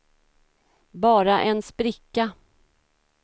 bara en spricka